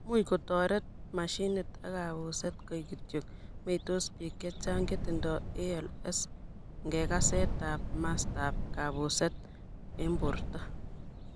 Much kotoret machinit ak kapuset, kaek kityo meitos pik chechang chetindoi ALS ing ngekakset ap mastap kapuset ing porto.